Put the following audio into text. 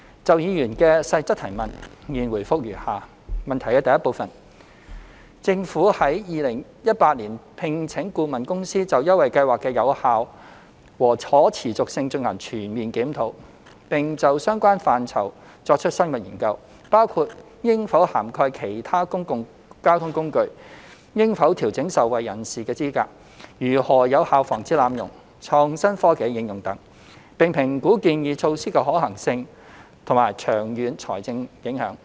就議員所提質詢的各部分，我現答覆如下：一政府於2018年聘請顧問公司，就優惠計劃的有效和可持續性進行全面檢討，並就相關範疇作出深入研究，包括應否涵蓋其他公共交通工具、應否調整受惠人士的資格、如何有效防止濫用、創新科技的應用等，並評估建議措施的可行性和長遠財政影響。